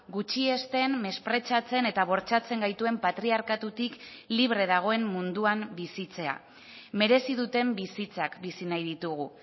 gutxiesten mespretxatzen eta bortxatzen gaituen patriarkatutik libre dagoen munduan bizitzea merezi duten bizitzak bizi nahi ditugu